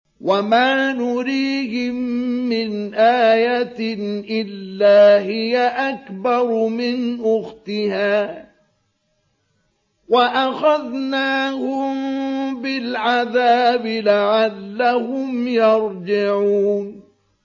وَمَا نُرِيهِم مِّنْ آيَةٍ إِلَّا هِيَ أَكْبَرُ مِنْ أُخْتِهَا ۖ وَأَخَذْنَاهُم بِالْعَذَابِ لَعَلَّهُمْ يَرْجِعُونَ